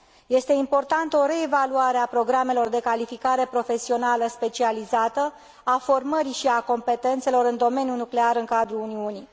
Este importantă o reevaluare a programelor de calificare profesională specializată, a formării și a competențelor în domeniul nuclear în cadrul Uniunii.